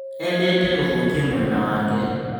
Endete gũthũkia mwena wake